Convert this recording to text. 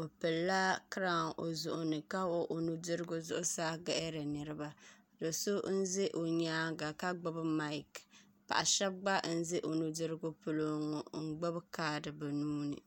o pilila kiraawn o zuɣu ni ka wuhi o nudirigu zuɣusaa gaɣari niraba do so n ʒɛ o nyaanga ka gbubi maik paɣa so gba n ʒɛ o nudirigu polo ŋo n gbuni kaad bi nuuni